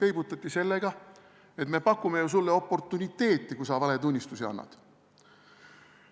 Peibutati sellega, et me pakume sulle oportuniteeti, kui sa valetunnistusi annad.